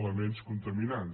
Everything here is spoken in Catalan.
elements contaminants